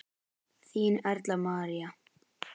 Þín Erla María.